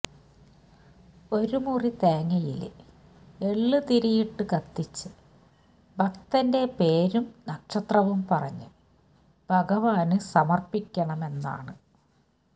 ഒരുമുറി തേങ്ങയില് എള്ള് തിരിയിട്ട് കത്തിച്ച് ഭക്തന്റെ പേരും നക്ഷത്രവും പറഞ്ഞ് ഭഗവാന് സമര്പ്പിക്കണമെന്നാണ്